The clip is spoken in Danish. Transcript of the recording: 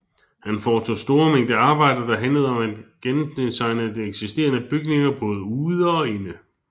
Han foretog store mængde arbejde der handlede om at gendesigne eksisterende bygninger både ude og inde